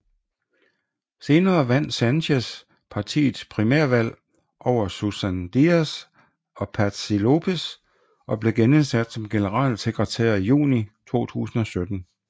Senere vandt Sánchez partiets primærvalg over Susana Díaz og Patxi López og blev genindsat som generalsekretær i juni 2017